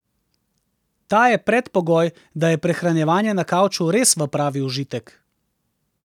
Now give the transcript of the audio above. Ta je predpogoj, da je prehranjevanje na kavču res v pravi užitek.